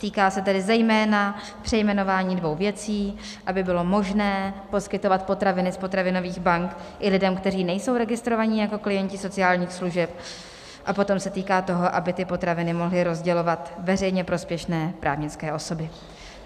Týká se tedy zejména přejmenování dvou věcí, aby bylo možné poskytovat potraviny z potravinových bank i lidem, kteří nejsou registrovaní jako klienti sociálních služeb, a potom se týká toho, aby ty potraviny mohly rozdělovat veřejně prospěšné právnické osoby.